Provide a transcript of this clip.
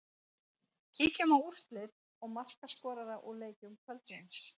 Kíkjum á úrslit og markaskorara úr leikjum kvöldsins.